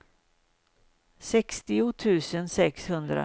sextio tusen sexhundrasjutton